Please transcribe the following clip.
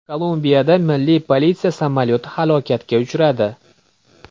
Kolumbiyada milliy politsiya samolyoti halokatga uchradi.